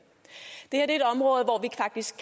hvis